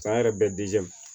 San yɛrɛ bɛ